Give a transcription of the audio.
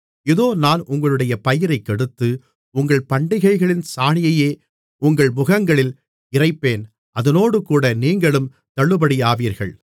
இதோ நான் உங்களுடைய பயிரைக் கெடுத்து உங்கள் பண்டிகைகளின் சாணியையே உங்கள் முகங்களில் இறைப்பேன் அதனோடுகூட நீங்களும் தள்ளுபடியாவீர்கள்